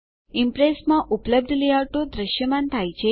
Impress માં ઉપલબ્ધ લેઆઉટો દ્રશ્યમાન થાય છે